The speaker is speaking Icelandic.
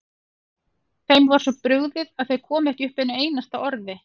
Þeim var svo brugðið að þau komu ekki upp einu einasta orði.